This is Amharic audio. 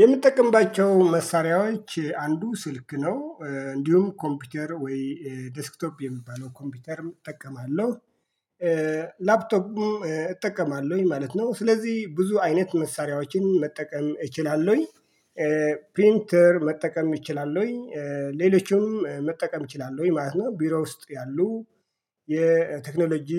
የምትጠቀምባቸው መሳሪያዎች አንዱ ስልክ ነው እንዲሁም ኮምፒውተር ወይ ዴስክቶፕ የሚባለው ኮምፒውተርም እጠቀማለሁ። ላፕቶፕ እጠቀማለሁኝ ማለት ነው። ስለዚህ ብዙ አይነት መሳሪያዎችን መጠቀም እችላለሁኝ። ፕሪንተር መጠቀም እችላለሁኝ ሌሎችም መጠቀም እችላለሁኝ ማለት ነው። ቢሮ ውስጥ ያሉ የቴክኖሎጂ